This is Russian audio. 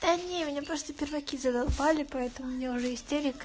да не меня просто перваки задолбали поэтому у меня уже истерика